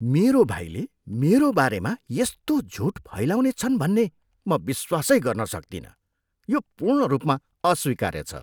मेरो भाइले मेरो बारेमा यस्तो झुट फैलाउनेछन् भन्ने म विश्वासै गर्न सक्तिनँ। यो पूर्ण रूपमा अस्वीकार्य छ।